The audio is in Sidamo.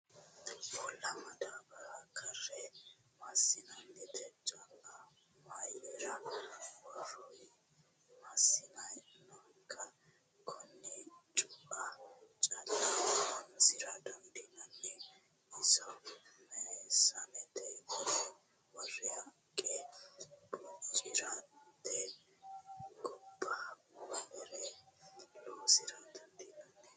Uulla madaabbara karre meesanete cu"a mayiira worroyi? Meesane nookkiha konne cu"a calla horonsira dandiinanni? Iso meesanete worre haqqe bocirate gobba wolere loosira dandiinanni?